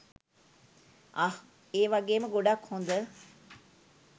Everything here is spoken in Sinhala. අහ්! ඒ වගේම ගොඩක් හොඳ